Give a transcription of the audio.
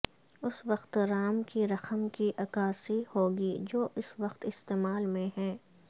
اس وقت رام کی رقم کی عکاسی ہوگی جو اس وقت استعمال میں ہے